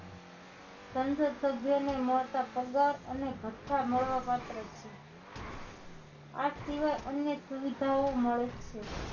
સંસદ સભ્યોને મળતા પગાર અને ભથ્થા મળવા પાત્ર છે આ સિવાય અનેક સુવિધાઓ મળે છે